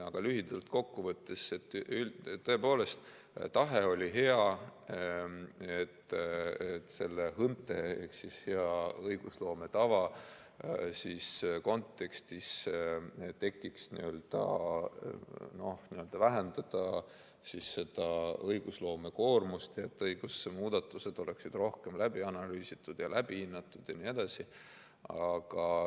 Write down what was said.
Aga lühidalt kokku võttes: tõepoolest, tahe oli hea, et hea õigusloome tava kontekstis saaks vähendada õigusloomekoormust ja õigusmuudatused oleksid rohkem läbi analüüsitud, läbi hinnatud jne.